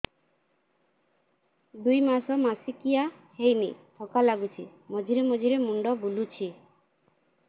ଦୁଇ ମାସ ମାସିକିଆ ହେଇନି ଥକା ଲାଗୁଚି ମଝିରେ ମଝିରେ ମୁଣ୍ଡ ବୁଲୁଛି